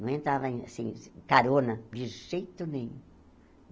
Não entrava em assim carona de jeito nenhum.